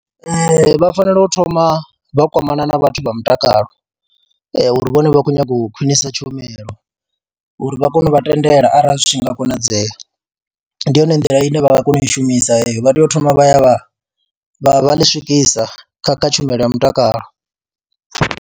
Ee, vha fanela u thoma vha kwamana na vhathu vha mutakalo uri vhone vha khou nyaga u khwinisa tshumelo uri vha kone u vha tendela arali zwi tshi nga konadzea, ndi yone nḓila ine vha nga kona u i shumisa heyo vha tea u thoma vha ya vha vha vha ḽi swikisa kha kha tshumelo ya mutakalo.